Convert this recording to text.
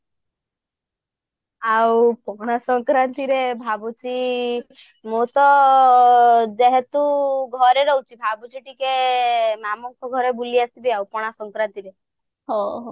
ଆଉ ପଣା ସଙ୍କ୍ରାନ୍ତିରେ ରେ ଭାବୁଛି ମୁଁ ତ ଯେହେତୁ ଘରେ ରହୁଛି ଟିକେ ମାମୁଁଙ୍କ ଘର ବୁଲି ଆସିବି ଆଉ ପଣା ସଙ୍କ୍ରାନ୍ତିରେ